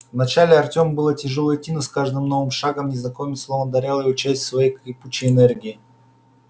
вначале артему было тяжело идти но с каждым новым шагом незнакомец словно одарял его частью своей кипучей энергии